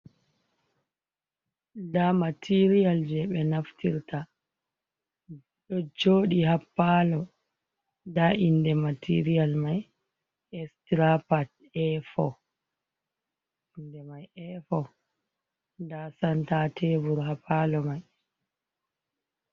Nda material je ɓe naftirta, ɗo joɗi ha ppalo nda inde material mai e strapat for, nda senta tebur ha palo mai.